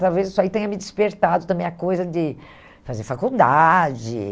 Talvez isso aí tenha me despertado também a coisa de fazer faculdade.